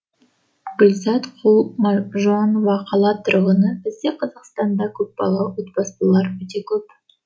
гүлзат құлмажанова қала тұрғыны бізде қазақстанда көпбалалы отбасылар өте көп